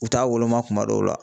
U t'a woloma kuma dɔw la